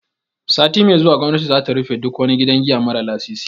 Sati mai zuwa gwamnati za ta rufe duk wani gidan giya mara lasisi.